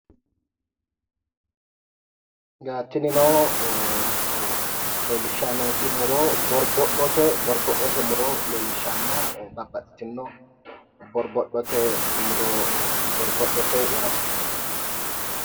Tinino leellishayi nooti muro borbodhote muro leellishshanno, babbaxitino borbodhote muro. Borbodhote yaate.